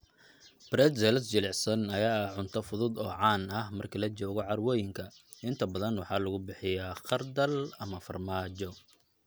Pretzels jilicsan ayaa ah cunto fudud oo caan ah marka la joogo carwooyinka, inta badan waxaa lagu bixiyaa khardal ama farmaajo.